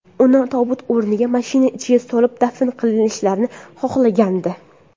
Uni tobut o‘rniga, mashina ichiga solib dafn qilishlarini xohlagandi.